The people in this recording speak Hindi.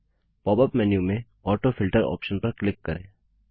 पॉप अप मेन्यू में ऑटोफिल्टर ऑप्शन पर क्लिक करें